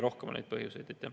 Neid põhjuseid on rohkem.